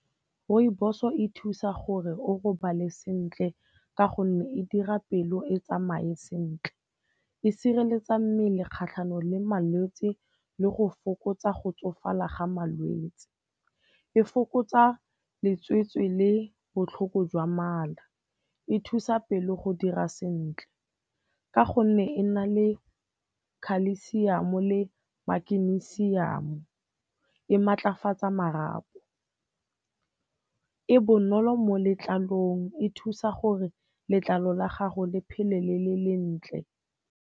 Rooibos-o e thusa gore o robale sentle ka gonne e dira pelo e tsamaye sentle. E sireletsa mmele kgatlhanong le malwetse le go fokotsa go tsofala ga malwetse. E fokotsa letsetse le botlhoko jwa mala, e thusa pelo go dira sentle ka gonne e na le khalesiamo le makenisiamo, e maatlafatsa marapo, e bonolo mo letlalong, e thusa gore letlalo la gago le phele le le lentle.